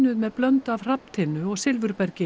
með blöndu af hrafntinnu og